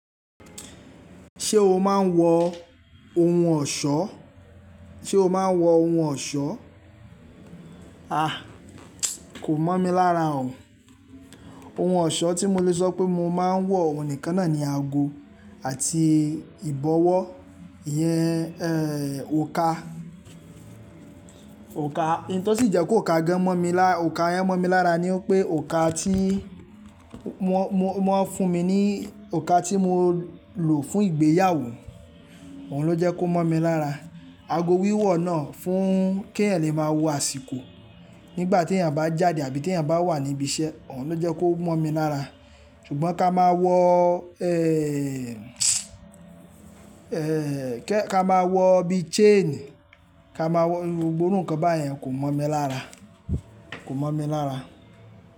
Ṣé o máa ń wọ ohun ọ̀ṣọ́? Sé o máa ń wọ ohun ọ̀ṣọ́? Kò mọ̀ mi lára o. Ohun ọ̀ṣọ́ tí mo lè sọ pé mo máa ń wọ, òun níkan náà ni ago àti ìbọ́wọ́ iyẹn, òǹkà. Òǹkà. Nǹtó sì jẹ́ kó òǹkà gan mọ̀ mi lá-- òǹkà yẹn mọ̀ mi lára ni pé òǹkà tí wọ́n, wọ́n fún mi ní òǹkà tí mo lò fún ìgbéyàwó, òun ló jẹ́ kó mọ̀ mi lára. Ago wíwọ̀ náà fún kí ẹ̀eyan lè máa wo àsìkò nígbà tí èeyàn bá jáde àbí tí èeyàn bá wà ní ibi iṣẹ́, òun ló jẹ́ kó mọ̀ mi lára. Ṣùgbọ́n ká máa wọ, ká máa wọ bí chain, ká máa wọ gbogbo iru nǹkan báyẹn kò mọ̀ mi lára, kò mọ̀ mi lára.